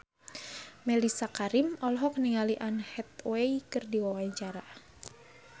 Mellisa Karim olohok ningali Anne Hathaway keur diwawancara